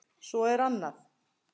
Svo er annað.